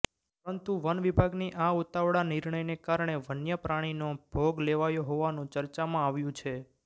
પરંતુ વન વિભાગની આ ઉતાવળા નિર્ણયને કારણે વન્ય પ્રાણીનો ભોગ લેવાયો હોવાનું ચર્ચામાં આવ્યુ છે